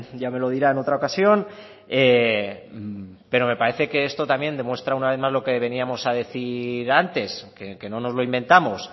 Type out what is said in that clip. ya me lo dirá en otra ocasión pero me parece que esto también demuestra una vez más lo que veníamos a decir antes que no nos lo inventamos